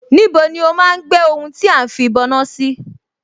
Níbo ni ó máa ń gbé ohun tí à ń fìbọná sí?